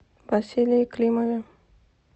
василии климове